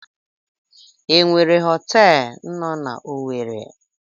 E nwere họtelụ no n'Owere?